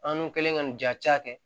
An dun kɛlen ka nin ja caya